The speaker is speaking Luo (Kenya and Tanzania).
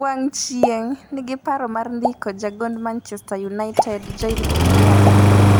(wang' chieng') Reading nigi paro mar ndiko jagond Manchester United Joel Pierra